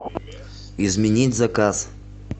изменить заказ